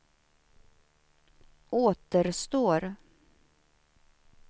återstår